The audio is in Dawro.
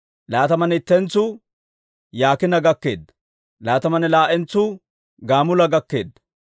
Laatamanne ittentsu Yaakiina gakkeedda. Laatamanne laa"entsuu Gamuula gakkeedda.